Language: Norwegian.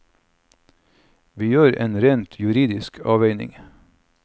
Vi gjør en rent juridisk avveining.